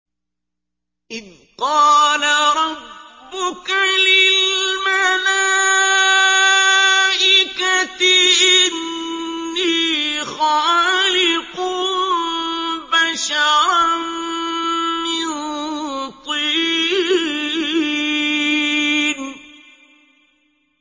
إِذْ قَالَ رَبُّكَ لِلْمَلَائِكَةِ إِنِّي خَالِقٌ بَشَرًا مِّن طِينٍ